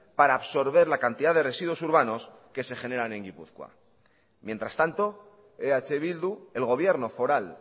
para absorber la cantidad de residuos urbanos que se generan en guipúzcoa mientras tanto eh bildu el gobierno foral